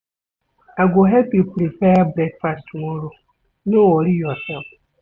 I go help you prepare breakfast tomorrow, No worry yoursef.